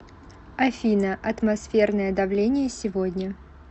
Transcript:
афина атмосферное давление сегодня